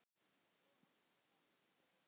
Og átti þar líka kindur.